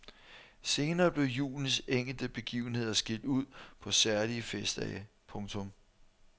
Senere blev julens enkelte begivenheder skilt ud på særlige festdage. punktum